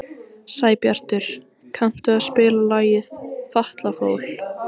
Sæbjartur, kanntu að spila lagið „Fatlafól“?